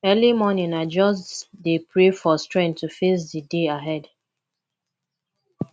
early morning i just dey pray for strength to face di day ahead